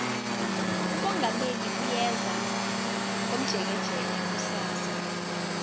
umongameli uyeza komjekejeke kusasa